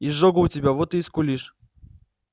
изжога у тебя вот ты и скулишь